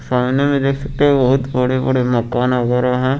सामने में देख सकते है बहोत बड़े बड़े मकान वगैरा है।